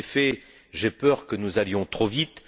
En effet, j'ai peur que nous allions trop vite.